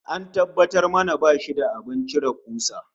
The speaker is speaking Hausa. An tabbatar mana bashi da abin cire kusa